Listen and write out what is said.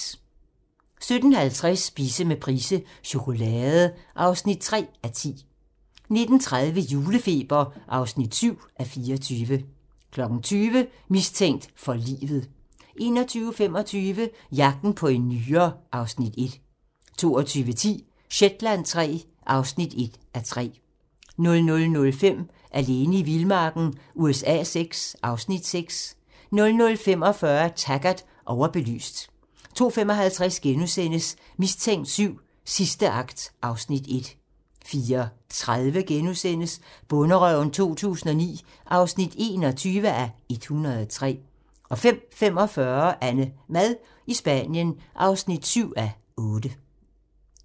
17:50: Spise med Price - chokolade (3:10) 19:30: Julefeber (7:24) 20:00: Mistænkt for livet 21:25: Jagten på en nyre (Afs. 1) 22:10: Shetland III (1:3) 00:05: Alene i vildmarken USA VI (Afs. 6) 00:45: Taggart: Overbelyst 02:55: Mistænkt VII: Sidste akt (Afs. 1)* 04:30: Bonderøven 2009 (21:103)* 05:45: AnneMad i Spanien (7:8)